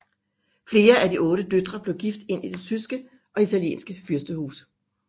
Flere af de otte døtre blev gift ind i tyske og italienske fyrstehuse